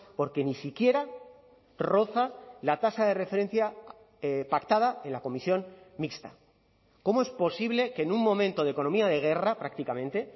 porque ni siquiera roza la tasa de referencia pactada en la comisión mixta cómo es posible que en un momento de economía de guerra prácticamente